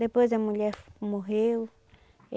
Depois a mulher morreu.